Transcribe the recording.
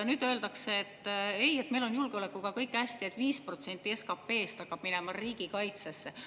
Nüüd öeldakse, et ei, meil on julgeolekuga kõik hästi, et 5% SKP-st hakkab minema riigikaitsesse.